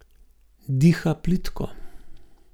Diha plitko.